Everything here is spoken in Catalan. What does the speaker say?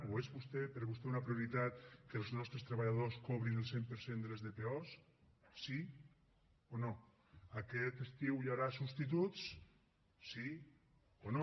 o és per a vostè una prioritat que els nostres treballadors cobrin el cent per cent de les dpo sí o no aquest estiu hi haurà substituts sí o no